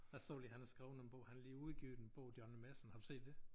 Jeg så lige han har skrevet en bog han har lige udgivet en bog Johnny Madsen har du set det?